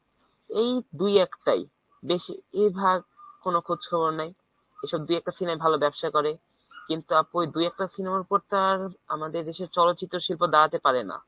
এই দুই একটাই বেশিরভাগ কোন খোঁজ খবর নাই। এইসব দুই একটা cinema ই ভাল ব্যবসা করে কিন্তু তারপর দু একটা cinema র ওপর তো আর আমাদের দেশের চলচিত্র শিল্প দাঁড়াতে পারে না।